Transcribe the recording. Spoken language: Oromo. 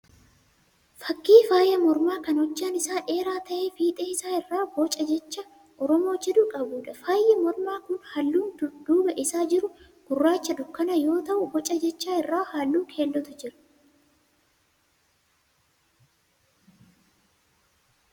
Fakkii faaya mormaa kan hojjaan isaa dheeraa ta'ee fiixee isaa irraa booca jecha Oromoo jedhu qabuudha. Faayyi mormaa kun halluun duuba isaa jiru gurraacha dukkana yoo ta'u boca jechaa irra halluu keellootu jira.